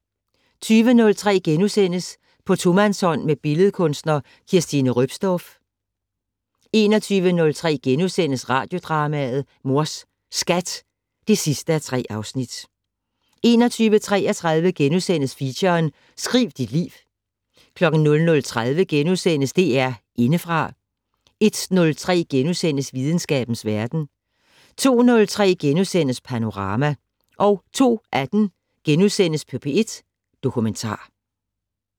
20:03: På tomandshånd med billedkunstner Kirstine Roepsdorff * 21:03: Radiodrama: Mors Skat (3:3)* 21:33: Feature: Skriv dit liv * 00:30: DR Indefra * 01:03: Videnskabens verden * 02:03: Panorama * 02:18: P1 Dokumentar *